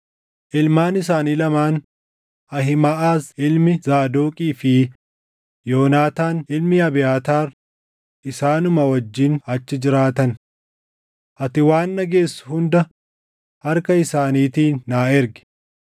Ilmaan isaanii lamaan Ahiimaʼaz ilmi Zaadoqii fi Yoonaataan ilmi Abiyaataar isaanuma wajjin achi jiraatan. Ati waan dhageessu hunda harka isaaniitiin naa ergi.”